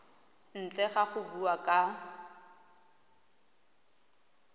ntle ga go bua ka